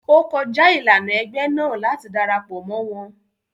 O kọja ilana ẹgbẹ náà láti darapọ mọ wọn